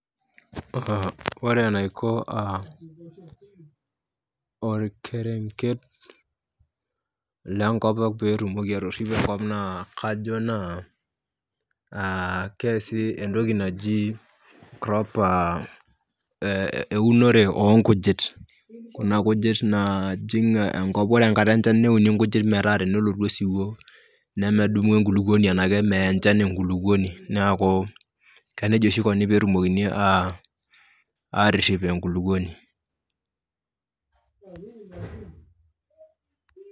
Kore enaiko uh olkerenket lenkop peyie itumoki atiripo enkop naa kajo naa uh keasi entoki naji proper euonoto oo nkujit, kuna kujit naajing' enkop, kore enkata enchan neuni nkujit metaa tenolotu osiwuo nemedumu enkulukuoni, nemeya enchan enkulukuoni. Neaku nejia oshi eikuni peetumokini aarip enkulukuoni